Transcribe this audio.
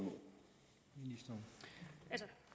jo